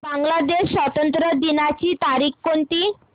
बांग्लादेश स्वातंत्र्य दिनाची तारीख कोणती